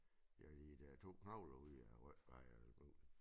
Ja de der 2 knogler ude i æ ryg og alt muligt